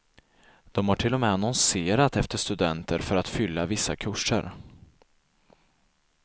De har till och med annonserat efter studenter för att fylla vissa kurser.